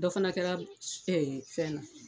Dɔ fana kɛla fɛn na.